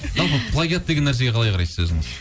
жалпы плагиат деген нәрсеге қалай қарайсыз өзіңіз